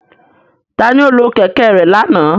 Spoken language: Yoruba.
Tani o lo kẹ̀kẹ́ rẹ lana?